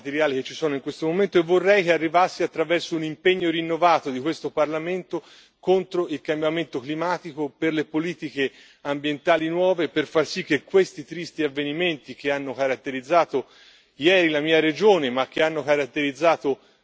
per le difficoltà materiali che ci sono in questo momento, e vorrei che arrivasse attraverso un impegno rinnovato di questo Parlamento contro il cambiamento climatico, a favore delle politiche ambientali nuove, per far sì che non si ripetano questi tristi avvenimenti, che hanno caratterizzato ieri la mia regione, ma che